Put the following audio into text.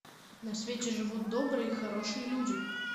на свете живут добрые и хорошие люди